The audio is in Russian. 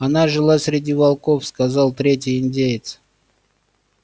она жила среди волков сказал третий индеец